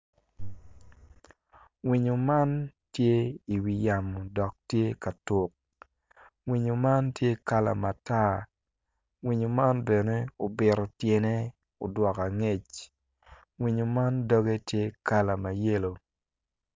Winyo man tye i wi yamo dok tye ka tuk winyo man tye kala matar winyo man bene obito tyene odwogo angec winyo man kala dogge tye mayelo